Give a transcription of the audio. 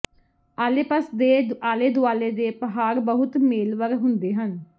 Alps ਦੇ ਆਲੇ ਦੁਆਲੇ ਦੇ ਪਹਾੜ ਬਹੁਤ ਮੇਲਵਰ ਹੁੰਦੇ ਹਨ